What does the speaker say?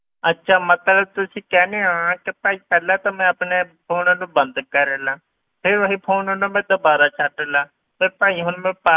ਅੱਛਾ ਮਤਲਬ ਤੁਸੀਂ ਕਹਿੰਦੇ ਹੋ ਕਿ ਭਾਈ ਪਹਿਲਾਂ ਤਾਂ ਮੈਂ ਆਪਣੇ phone ਨੂੰ ਬੰਦ ਕਰ ਲਵਾਂ, ਫਿਰ ਉਹੀ phone ਨੂੰ ਮੈਂ ਦੁਬਾਰਾ ਛੱਡ ਲਵਾਂ, ਵੀ ਭਾਈ ਹੁਣ ਮੈਂ,